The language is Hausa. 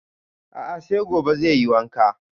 A'a sai gobe zai yi wanka